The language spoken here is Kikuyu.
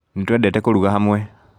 Nĩtwendete kũruga hamwe